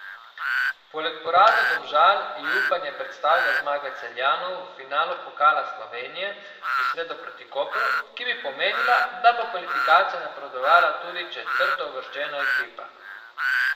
Poleg porazov Domžal ji upanje predstavlja zmaga Celjanov v finalu Pokala Slovenije v sredo proti Kopru, ki bi pomenila, da bo v kvalifikacije napredovala tudi četrtouvrščena ekipa.